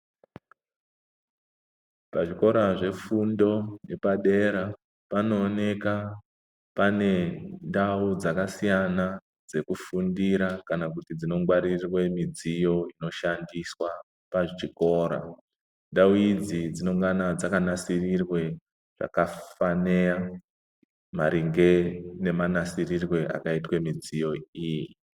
Pazvikora zvefundo yepadera panooneka pane ndau dzakasiyana dzekufundira kana kuti dzinongwaririrwe midziyo inoshandiswa pachikora. Ndau idzi dzinongana dzakanasirirwe pakafanira maringe nemanasirirwe akaitwe midziyo iyi.